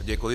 Děkuji.